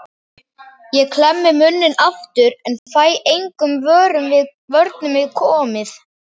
Ég klemmi munninn aftur en fæ engum vörnum við komið.